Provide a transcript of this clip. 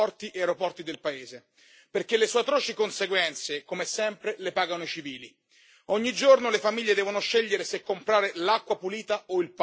Sì, meschina. Come meschino è il blocco imposto da Riad su porti e aeroporti del paese, perché le sue atroci conseguenze, come sempre, le pagano i civili.